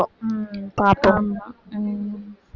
உம் பார்ப்போம் ஆமா உம்